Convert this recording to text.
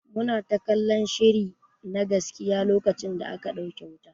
Muna ta kallan shiri na gaskiya lokacin da aka dauke wuta.